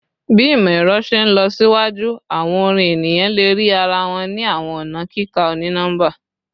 Bi imọ-ẹrọ ṣe nlọsiwaju awọn orin eniyan le rii ara wọn ni awọn ọna kika oni-nọmba